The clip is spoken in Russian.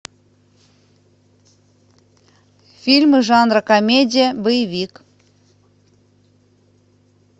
фильмы жанра комедия боевик